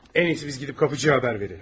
Ən yaxşısı biz gedib qapıçığa xəbər verək.